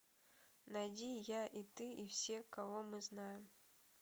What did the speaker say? найди я и ты и все кого мы знаем